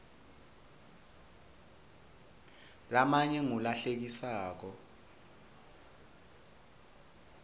lamanye ngula hlekisako